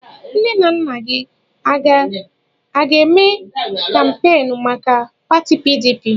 Nne na nna gị aga-eme kampeenụ́ maka pati PDP?